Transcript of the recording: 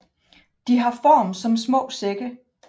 De har form som små sække